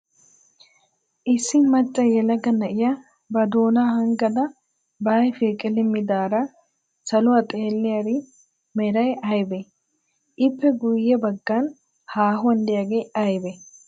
Issi macca yelaga na'iya ba doonaa hanggadan ba ayifiyaa qilimmidaara saluwaa xeelliyaari meray aybee? lppe guyye baggan haahuwan diyaagee ayibee?